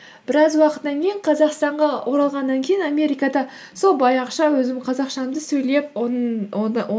біраз уақыттан кейін қазақстанға оралғаннан кейін америкада сол баяғыша өзімнің қазақшамды сөйлеп